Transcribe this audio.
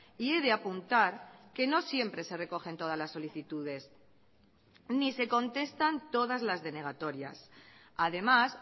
y he de apuntar que no siempre se recogen todas las solicitudes ni se contestan todas las denegatorias además